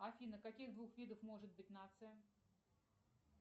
афина каких двух видов может быть нация